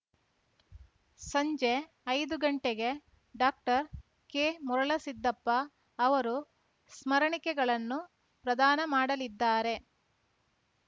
ಸಂಜೆ ಐದು ಗಂಟೆಗೆ ಡಾಕ್ಟರ್ ಕೆ ಮರುಳ ಸಿದ್ದಪ್ಪ ಅವರು ಸ್ಮರಣಿಕೆಗಳನ್ನು ಪ್ರದಾನ ಮಾಡಲಿದ್ದಾರೆ